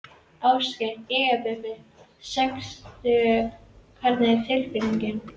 Ásgeir: Jæja Bubbi, sextugur hvernig er tilfinningin?